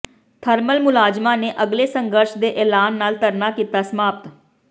thermal ਮੁਲਾਜ਼ਮਾਂ ਨੇ ਅਗਲੇ ਸੰਘਰਸ਼ ਦੇ ਐਲਾਨ ਨਾਲ ਧਰਨਾ ਕੀਤਾ ਸਮਾਪਤ